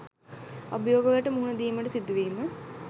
අභියෝගවලට මුහුණ දීමට සිදුවීම